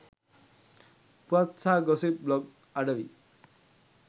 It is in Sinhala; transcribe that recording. පුවත් සහ ගොසිප් බ්ලොග් අඩවි